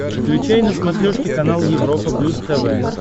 включай на смотрешке канал европа плюс тв